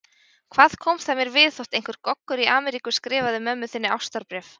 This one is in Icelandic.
Hvað kom það mér við þótt einhver Goggur í Ameríku skrifaði mömmu þinni ástarbréf?